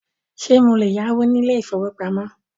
Ṣé mo lè yáwó ní ilé ìfọwọ́pamo?